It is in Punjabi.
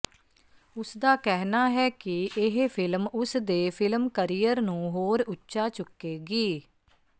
ਉਸਦਾ ਕਹਿਣਾ ਹੈ ਕਿ ਇਹ ਫ਼ਿਲਮ ਉਸਦੇ ਫ਼ਿਲਮ ਕਰੀਅਰ ਨੂੰ ਹੋਰ ਉੱਚਾ ਚੁੱਕੇਗੀ